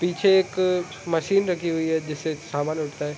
पीछे एक मशीन रखी हुई है जिससे सामान उठता है --